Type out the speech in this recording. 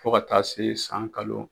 Fo ka taa se san kalo